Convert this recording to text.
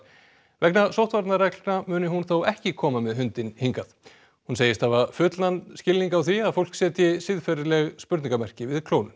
vegna muni hún þó ekki koma með hundinn hingað hún segist hafa fullan skilning á því að fólk setji siðferðisleg spurningarmerki við klónun